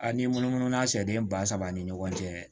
A ni munumunu na sɛden ba saba ni ɲɔgɔn cɛ